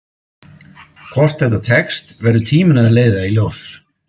Hvort þetta tekst verður tíminn að leiða í ljós.